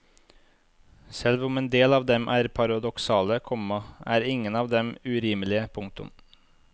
Selv om en del av dem er paradoksale, komma er ingen av dem urimelige. punktum